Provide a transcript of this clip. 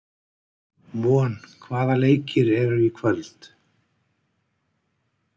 Von, hvaða leikir eru í kvöld?